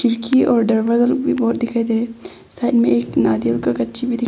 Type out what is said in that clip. board दिखाई दे रहे हैं साइड में एक नारियल का गच्छि भी दि--